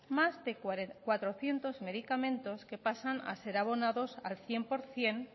más de cuatrocientos medicamentos que pasan a ser abonados al cien por ciento